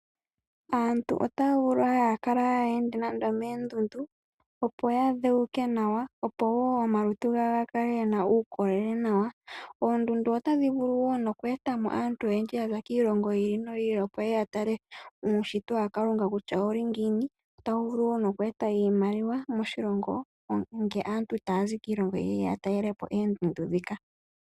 Aantu otaavulu okukala haayende nando okoondundu opo ya dhewuke nawa opowo omalutu gawo gakale gena uukolele, oondundu otadhi vulu woo oku eta aantu moshilongo okuza kiilongo yiili noyi ili opo yeye yatale uushitwa waKalunga kutya ouli ngiini, otawu vulu woo noku eta oshimaliwa moshilongo uuna aantu taye ya okutala oondundu dhika.